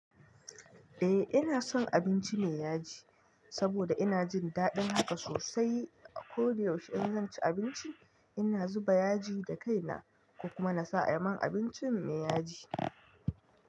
Eh ina son abinci me yaji, saboda ina jin daɗin haka sosai. A koda yaushe in zan ci abinci, ina zuba yaji da kaina kuma nasa aman abincin me yaji.